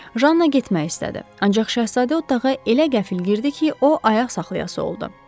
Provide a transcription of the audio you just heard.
Janna getmək istədi, ancaq şəhzadə otağa elə qəfil girdi ki, o ayaq saxlayası oldu.